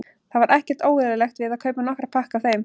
Það var ekkert óeðlilegt við að kaupa nokkra pakka af þeim.